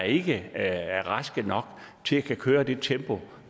ikke er raske nok til at kunne køre det i tempo